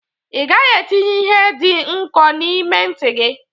Ị gaghị etinye ihe dị nkọ n'ime ntị gị!